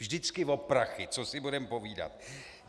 Vždycky o prachy, co si budeme povídat.